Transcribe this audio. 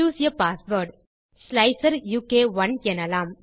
choose a password slicer உ க் 1 எனலாம்